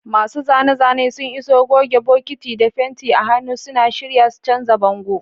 Masu zane-zane sun iso, goge, bokiti, da fenti a hannu, suna shirye su canza bango.